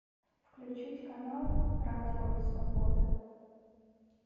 включить канал радио свобода